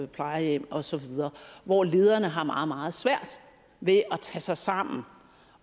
plejehjem osv hvor lederne har meget meget svært ved at tage sig sammen